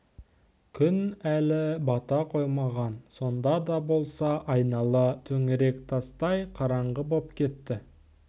күн әлі бата қоймаған сонда да болса айнала төңірек тастай қараңғы боп кетті